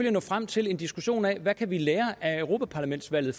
at nå frem til en diskussion af hvad vi kan lære af europa parlamentsvalget